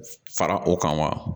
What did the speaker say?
Fara o kan wa